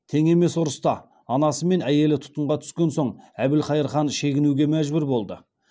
тең емес ұрыста анасы мен әйелі тұтқынға түскен соң әбілқайыр хан шегінуге мәжбүр болды